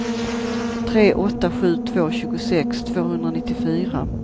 tre åtta sju två tjugosex tvåhundranittiofyra